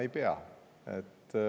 Ei peaks.